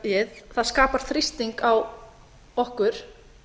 varðandi lofstlagið skapar þrýsting á okkur